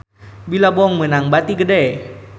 Billabong meunang bati gede